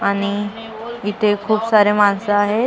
आणि इथे खूप सारे माणसं आहेत.